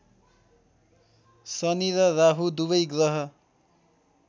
शनि र राहु दुबै ग्रह